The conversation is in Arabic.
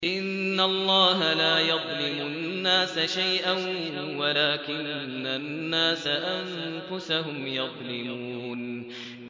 إِنَّ اللَّهَ لَا يَظْلِمُ النَّاسَ شَيْئًا وَلَٰكِنَّ النَّاسَ أَنفُسَهُمْ يَظْلِمُونَ